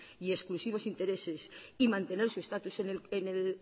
y exclusivos intereses y mantener su estatus